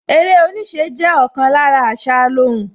Eré oníṣẹ́ jẹ́ ọ̀kan lára àṣà alóhùn